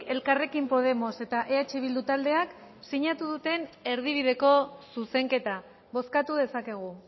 elkarrekin podemos eta eh bildu taldeak sinatu duten erdibideko zuzenketa bozkatu dezakegu